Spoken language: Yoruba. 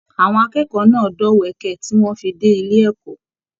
Àwọn akẹ́kọ̀ọ́ náà dọ̀wẹ̀kẹ̀ tí wọn fí dé ilé ẹ̀kọ́.